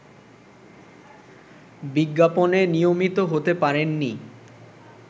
বিজ্ঞাপনে নিয়মিত হতে পারেননি